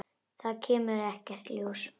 Það kemur ekkert ljós.